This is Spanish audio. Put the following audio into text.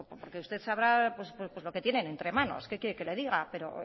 porque usted sabrá lo que tienen entre manos qué quiere que le diga pero